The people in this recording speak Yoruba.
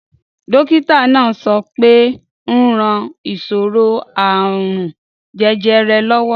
Dókítà náà sọ pé ó ń ran ìṣòro àrùn jẹjẹrẹ lọ́wọ́